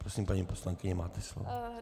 Prosím, paní poslankyně, máte slovo.